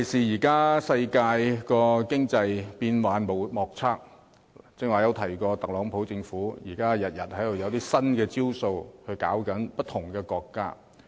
現今世界經濟發展變幻莫測，尤其是我剛才提到，特朗普政府天天都推出新的招數，對付不同的國家。